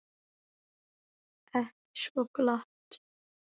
Ekki svo glatt.